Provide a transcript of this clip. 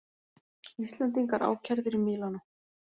Íslendingar ákærðir í Mílanó